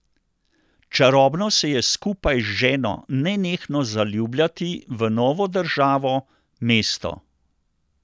Čarobno se je skupaj z ženo nenehno zaljubljati v novo državo, mesto.